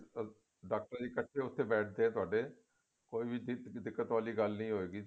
doctor ਜੀ ਕੱਠੇ ਬੈਠਦੇ ਆ ਉੱਥੇ ਆ ਤੁਹਾਡੇ ਕੋਈ ਵੀ ਡਿੱਕ ਦਿੱਕਤ ਵਾਲੀ ਗੱਲ ਨੀ ਹੋਇਗੀ